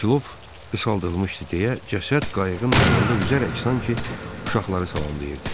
Kilov qısaldılmışdı deyə cəsəd qayıqın yanında üzərək sanki uşaqları salamlayırdı.